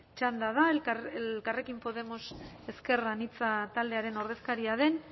txanda da elkarrekin podemos ezker anitza taldearen ordezkaria den